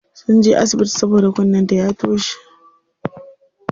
Sunje asibiti saboda kunnen ta ya toshe.